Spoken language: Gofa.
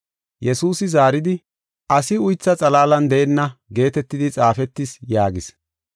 Yesuusi zaaridi, “Asi uytha xalaalan deenna geetetidi xaafetis” yaagis.